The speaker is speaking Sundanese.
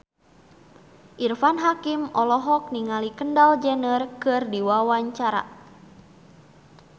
Irfan Hakim olohok ningali Kendall Jenner keur diwawancara